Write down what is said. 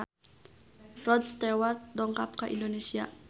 Rod Stewart dongkap ka Indonesia